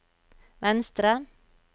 venstre